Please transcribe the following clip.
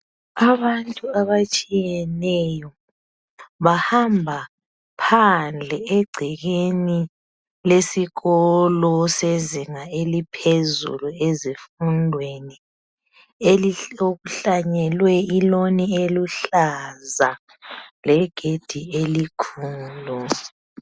Abantu abatshiyeneyo bahamba phandle egcekeni lesikolo sezinga eliphezulu ezifundweni okuhlanyelwe iloan eluhlaza legedi elikhulu.